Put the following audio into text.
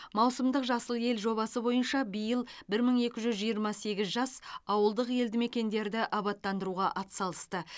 маусымдық жасыл ел жобасы бойынша биыл бір мың екі жүз жиырма сегіз жас ауылдық елді мекендерді абаттандыруға атсалысты